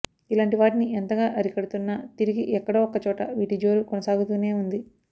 ఇలాంటి వాటిని ఎంతగా అరికడుతున్నా తిరిగి ఎక్కడో ఒక్కచోట వీటిజోరు కొనసాగుతూనే ఉంది